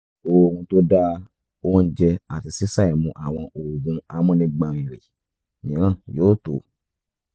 oorun tó dáa oúnjẹ àti ṣíṣàìmu àwọn oògùn amúnigbọ̀nrìrì mìíràn yóò tó